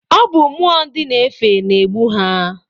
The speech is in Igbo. Ọ bụ mmụọ ndị na-efe na-egbu ha.